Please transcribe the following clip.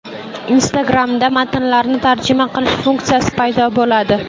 Instagram’da matnlarni tarjima qilish funksiyasi paydo bo‘ladi.